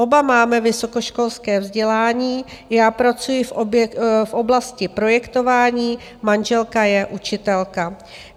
Oba máme vysokoškolské vzdělání, já pracuji v oblasti projektování, manželka je učitelka.